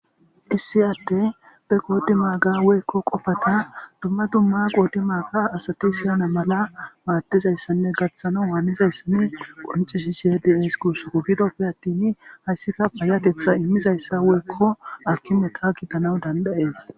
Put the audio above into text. Issi addey be qoddi maagga woykko qoffata dumma dumma qodi maaga asati siyana malla maddizayssane gaththanawu haanizayssa qoncisishe de'es gussako giddope attin hayssika payatethhtha immizayssa woykko artumata gidanawu danda'es.